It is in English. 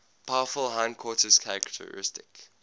powerful hindquarters characteristic